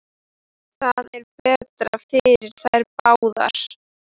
Það er betra fyrir þær báðar.